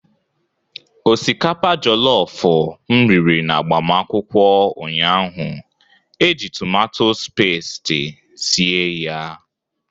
Osikapa jolofu m riri n'agbamakwụkwọ ụnyahụ e ji tumatus pasti sie ya.